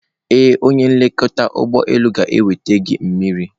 Ee, onye nlekọta ụgbọ elu ga-enweta gị mmiri.